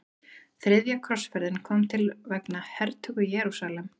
Þriðja krossferðin kom til vegna hertöku Jerúsalem.